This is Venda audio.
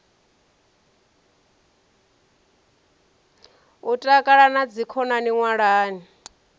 u takala na dzikhonani ṅwalani